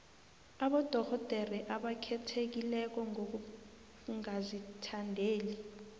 abodorhodere abakhethekileko ngokungazithandeli